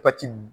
Pati